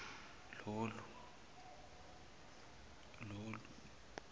lolu